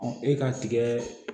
e ka tigɛɛ